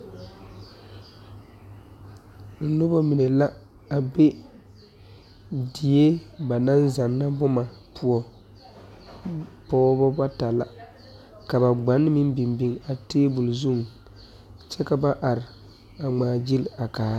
Noba mine la a be die ba naŋ zanna boma poɔ, pɔgeba bata la ka ba gban meŋ biŋ biŋ a tabol zuŋ kyɛ ka ba are a ŋmaa gyili a kaara.